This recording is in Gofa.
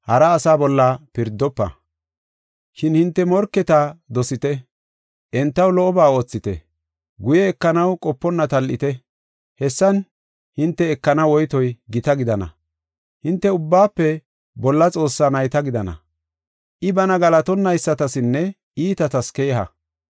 “Shin hinte morketa dosite; entaw lo77oba oothite. Guye ekanaw qoponna tal7ite. Hessan hinte ekana woytoy gita gidana. Hinte Ubbaafe Bolla Xoossaa nayta gidana. I bana galatonaysatasinne iitatas keeha.